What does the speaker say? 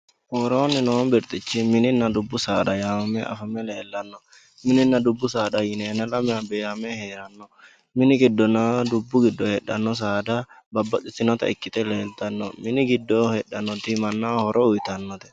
Worooni noo birxichu mininna dubbu saada yaanohunni afame leellano, mininna dubbu saada yine lamewa beehame heerano, mini giddonna dubbu giddo heedhano saada babbaxxinotta ikkite leelittano ,mini giddo heedhanoti mannaho horo uyittanote.